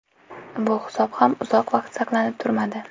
Bu hisob ham uzoq vaqt saqlanib turmadi.